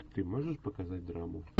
ты можешь показать драму